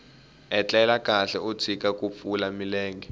etlela kahle u tshika ku pfula milenge